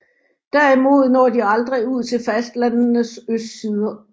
Derimod når de aldrig ud til fastlandenes østsider